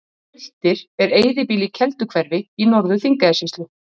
Sultir er eyðibýli í Kelduhverfi í Norður-Þingeyjarsýslu.